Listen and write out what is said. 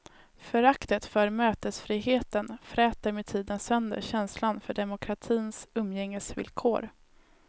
Föraktet för mötesfriheten fräter med tiden sönder känslan för demokratins umgängesvillkor.